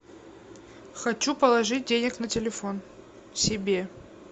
хочу положить денег на телефон себе